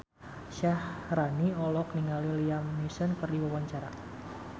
Syaharani olohok ningali Liam Neeson keur diwawancara